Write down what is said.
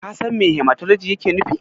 Ka san me Hematologi yake nufi?